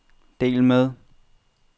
del med